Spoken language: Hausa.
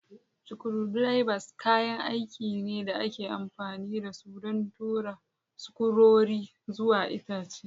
Screwdrivers kayan aiki ne da ake amfani da su don tura sukurori zuwa itace.